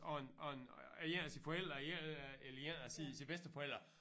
Af en af en af en af sine forældre af en eller en af sine sine bedsteforældre